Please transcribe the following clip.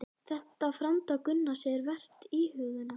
Þetta framtak Gunnars er vert íhugunar.